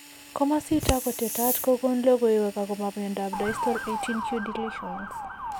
Komasitak ko tetat kokon logoiwek akobo miondop distal 18q deletions.